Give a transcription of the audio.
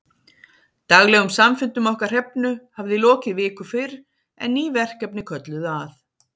Daglegum samfundum okkar Hrefnu hafði lokið viku fyrr, en ný verkefni kölluðu að.